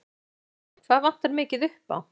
Guðjón Helgason: Hvað vantar mikið upp á?